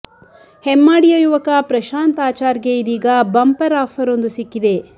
ಹೆಮ್ಮಾಡಿಯ ಯುವಕ ಪ್ರಶಾಂತ್ ಆಚಾರ್ ಗೆ ಇದೀಗ ಬಂಪರ್ ಆಫರ್ ಒಂದು ಸಿಕ್ಕಿದೆ